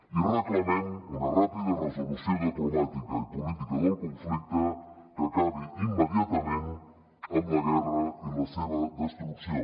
i reclamem una ràpida resolució diplomàtica i política del conflicte que acabi im·mediatament amb la guerra i la seva destrucció